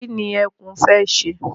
Kí ni ẹkún fẹ́ ṣe?